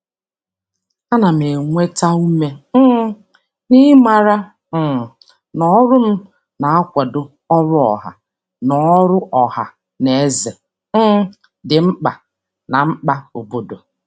A na m enweta ume um n'ịmara um na ọrụ m na-akwado ọrụ ọha na ọrụ ọha na eze um dị mkpa na mkpa obodo.